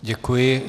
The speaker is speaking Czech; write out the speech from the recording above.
Děkuji.